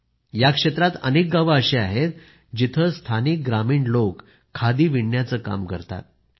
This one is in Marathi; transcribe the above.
या क्षेत्रात अनेक गावं अशी आहेत की जिथं स्थानिक ग्रामीण लोक खादी विणण्याचं काम करतात